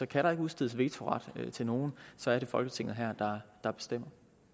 kan der ikke udstedes vetoret til nogen så er det folketinget her der bestemmer